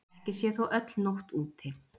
Ekki sé þó öll nótt úti.